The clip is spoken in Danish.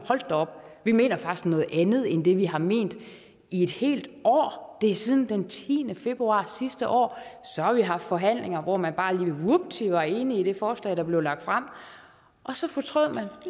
da op vi mener faktisk noget andet end det vi har ment i et helt år det er siden den tiende februar sidste år så har vi haft forhandlinger hvor man bare lige vupti var enige i det forslag der blev lagt frem og så fortrød